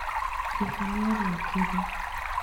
Jesũ nĩ ariũkire